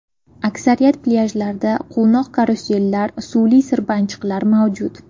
Aksariyat plyajlarda quvnoq karusellar, suvli sirpanchiqlar mavjud.